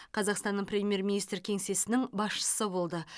қазақстан премьер министр кеңсесінің басшысы болды